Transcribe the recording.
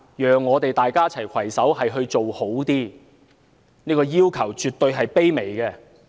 讓我們一起攜手做得更好，這個要求絕對是卑微的。